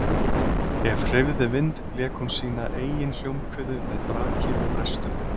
Ef hreyfði vind lék hún sína eigin hljómkviðu með braki og brestum.